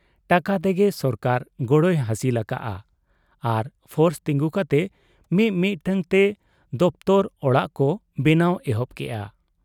ᱴᱟᱠᱟ ᱛᱮᱜᱮ ᱥᱚᱨᱠᱟᱨ ᱜᱚᱲᱚᱭ ᱦᱟᱹᱥᱤᱞ ᱟᱠᱟᱜ ᱟ ᱟᱨ ᱯᱷᱚᱨᱥ ᱛᱤᱸᱜᱩ ᱠᱟᱛᱮ ᱢᱤ ᱢᱤᱫᱴᱟᱹᱝ ᱛᱮ ᱫᱚᱯᱛᱚᱨ ᱚᱲᱟᱜ ᱠᱚ ᱵᱮᱱᱟᱣ ᱮᱦᱚᱵ ᱠᱮᱜ ᱟ ᱾